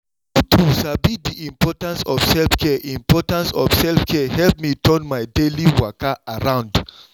true true sabi di importance of self-care importance of self-care help me turn my daily waka around.